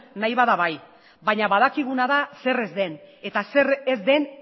nahi bada bai baina badakiguna da zer ez den eta zer ez den